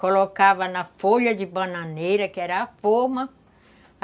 Colocava na folha de bananeira, que era a forma.